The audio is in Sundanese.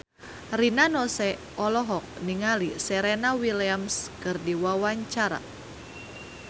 Rina Nose olohok ningali Serena Williams keur diwawancara